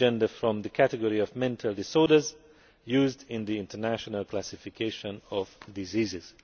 it from the category of mental disorders used in the International Classification of Diseases.